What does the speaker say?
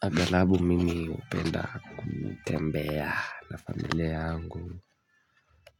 Agarabu mimi hupenda kutembea na familia yangu